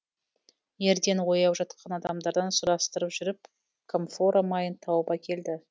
ерден ояу жатқан адамдардан сұрастырып жүріп камфора майын тауып әкелді